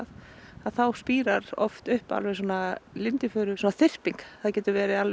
þá spírar upp lindifuruþyrping það geta verið